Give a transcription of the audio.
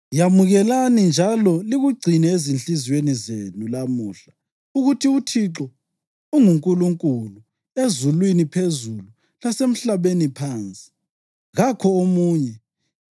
Yamukelani njalo likugcine ezinhliziyweni zenu lamuhla ukuthi uThixo unguNkulunkulu ezulwini phezulu lasemhlabeni phansi. Kakho omunye.